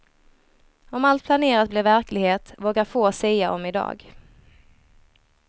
Om allt planerat blir verklighet, vågar få sia om idag.